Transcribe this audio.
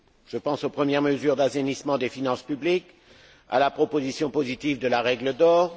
Je pense aux premières mesures d'assainissement des finances publiques, à la proposition positive de la règle d'or.